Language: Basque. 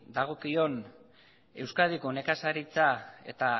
dagokion euskadiko nekazaritza eta